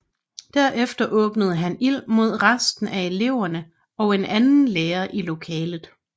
Derefter åbnede han ild mod resten af eleverne og en anden lærer i lokalet